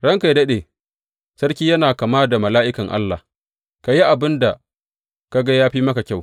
Ranka yă daɗe, sarki yana kama da mala’ikan Allah, ka yi abin da ka ga ya fi maka kyau.